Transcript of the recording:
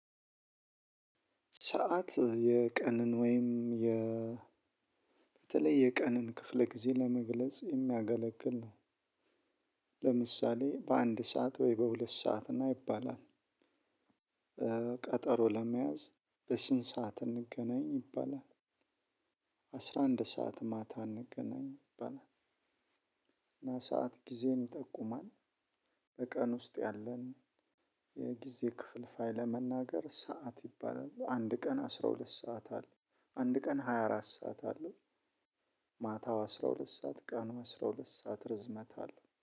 ሰዓት የቀን ወይም የ በተለይ የቀን ክፍለ ጊዜ ለመግለጽ የሚያገለግል ነው። ለምሳሌ በአንድ ሰዓት ወይ በሁለት ሰዓት ና ይባላል። ቀጠሮ ለመያዝ በስንት ሰዓት እንገናኝ ይባላል። አስራ አንድ ሰዓት ማታ እንገናኝ ይባላል። እና ሰዓት ጊዜን ይጠቁማል። በቀን ውስጥ ያለን የጊዜ ክፍል ፋይለ መናገር ሰዓት ይባላል አንድ ቀን አስራ ሁለት ሰዓት አለ። አንድ ቀን ሃያ አራት ሰዓት አለው። ማታው አስራ ሁለት ሰዓት ቀን አስራ ሁለት ሰዓት ርዝመት አለው